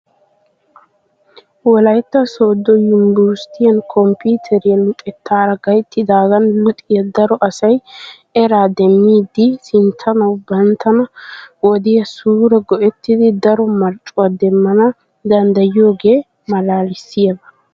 Wolaytta Sooddo yunbberesttiyan komppiteriya luxettaara gayttidaagan luxiya daro asay eraa demmidi sinttanawu bantta wodiya suure go'ettidi daro marccuwa demmana danddayiyogee malaalissiyaba.